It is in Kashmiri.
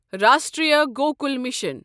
راشٹریہ گۄکُل مِشن